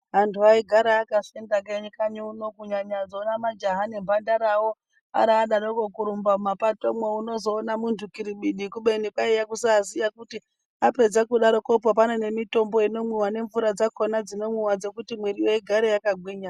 Antu aigara akafenda kanyi uno kunyanya dzona majaha nemhandarawo aradaroko kurumba mumapatomwo unozoona muntu kiribidi kubeni kwaiya kusaziya kuti kudaroko kuti pane mitombo inomwiwa nemvura dzakona dzinomwiwa dzekuti mwiriyo igare yakagwinya.